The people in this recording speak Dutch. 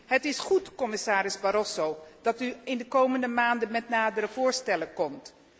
Het is goed, commissaris Barroso, dat u in de komende maanden met nadere voorstellen komt.